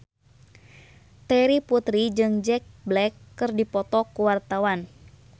Terry Putri jeung Jack Black keur dipoto ku wartawan